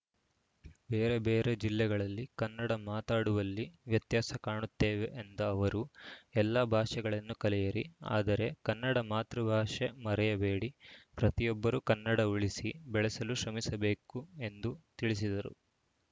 ಬೇರೆ ಬೇರೆ ಜಿಲ್ಲೆಗಳಲ್ಲಿ ಕನ್ನಡ ಮಾತಾಡುವಲ್ಲಿ ವ್ಯತ್ಯಾಸ ಕಾಣುತ್ತೇವೆ ಎಂದ ಅವರು ಎಲ್ಲ ಭಾಷೆಗಳನ್ನು ಕಲಿಯಿರಿ ಆದರೆ ಕನ್ನಡ ಮಾತೃಭಾಷೆ ಮರೆಯಬೇಡಿ ಪ್ರತಿಯೊಬ್ಬರೂ ಕನ್ನಡ ಉಳಿಸಿ ಬೆಳೆಸಲು ಶ್ರಮಿಸಬೇಕು ಎಂದು ತಿಳಿಸಿದರು